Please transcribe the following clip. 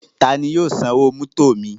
Tani yóò san owó mótò mi?